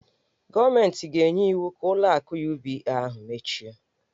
Gọọmentị ga-enye iwu ka ụlọ akụ UBA ahụ mechie.